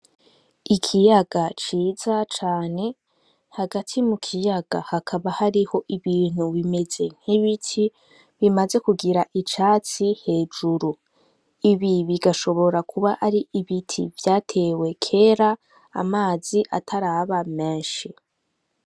Ikiyaga ciza cane, hagati mu kiyaga hakaba hariho ibintu bimeze nk'ibiti bimaze kugira icatsi hejuru. Ibi bigashobora kuba ari ibiti vyatewe kera, amazi ataraba menshi.